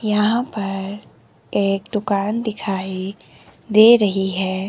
यहां पर एक दुकान दिखाई दे रही हैं।